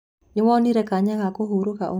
Nĩwonire kanya ga kũhurũka ũmũthĩ?